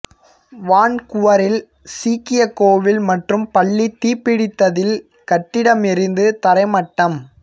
வான்குவரில் சீக்கியக் கோவில் மற்றும் பள்ளி தீப்பிடித்ததில் கட்டிடம் எரிந்து தரை மட்டம்